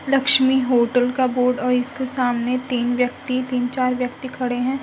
Lakshmi hotel का board और इसके सामने तीन व्यक्ति तिन चार व्यक्ति खड़े हैं।